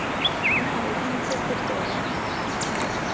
na o entse kopo ya